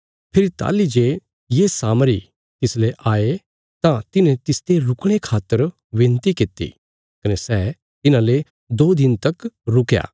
फेरी ताहली जे ये सामरी तिसले आये तां तिन्हे तिसते रुकणे खातर बिनती किति कने सै तिन्हाले दो दिन तक रुकया